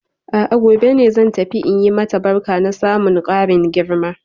A'a gobe zan tafi in yi mata barka na samun karin girma.